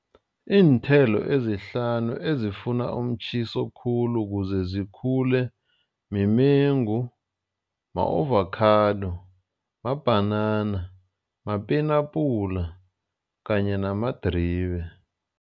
Iinthelo ezihlanu ezifuna umtjhiso khulu kuze zikhule mimengu, ma-avokhado, mabhanana, mapenapula kanye namadribe.